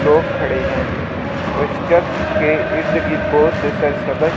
लोग खड़े हैं व इस चर्च के इर्दगिर्द बहुत से सरसब्ज़ --